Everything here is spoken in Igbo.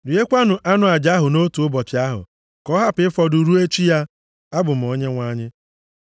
Riekwanụ anụ aja ahụ nʼotu ụbọchị ahụ, ka ọ hapụ ịfọdụ ruo echi ya. Abụ m Onyenwe anyị.